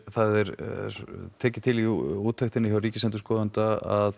það er tekið til í úttektinni hjá Ríkisendurskoðun að